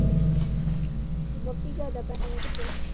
ਜਿਆਦਾ ਪੈ ਕਿਤੇ